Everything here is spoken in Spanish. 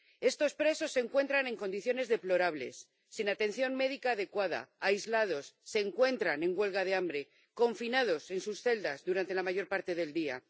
Estos presos se encuentran en condiciones deplorables, sin atención médica adecuada, aislados, en huelga de hambre y confinados en sus celdas durante la mayor parte del día.